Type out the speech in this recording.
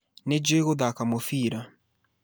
Nĩ njũĩ gũthaka mũbira